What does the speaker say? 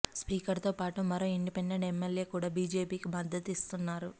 speaker తో పాటు మరో ఇండిపెండెంట్ ఎమ్మెల్యే కూడా బీజేపీకే మద్దతిస్తున్నారు